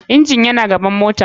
Engine yana gaban mota.